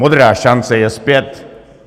Modrá šance je zpět.